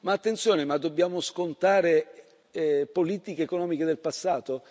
Ma attenzione, ma dobbiamo scontare politiche economiche del passato?